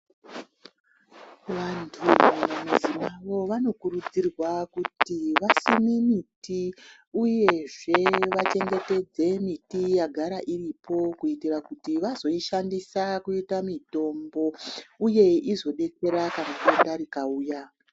Vantu vanokurudzirwa kuti vasime miti uyezve vachengetedze miti yagara iripo kuitira kuti vazoishandisa kuita mitombo uye izodetsera kana denda rikauya.